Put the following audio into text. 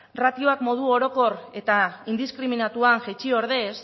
ratioak modu orokor eta indiskriminatuan jaitsi ordez